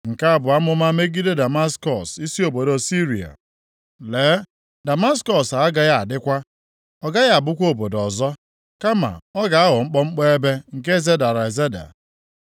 Nke a bụ amụma megide Damaskọs, + 17:1 \+xt Jen 14:15; 15:2; 2Ez 16:9; Jer 49:23; Ems 1:3-5; Zek 9:1; Ọrụ 9:2\+xt* isi obodo Siria. “Lee, Damaskọs agaghị adịkwa! Ọ gaghị abụkwa obodo ọzọ, kama ọ ga-aghọ mkpọmkpọ ebe, nke zedara ezeda.